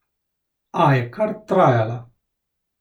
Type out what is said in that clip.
A je kar trajala.